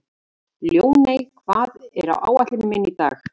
Ljóney, hvað er á áætluninni minni í dag?